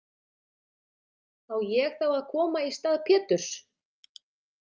Á ég þá að koma í stað Péturs?